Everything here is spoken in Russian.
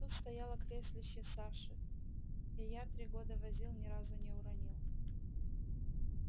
тут стояло креслице саши я его три года возил ни разу не уронил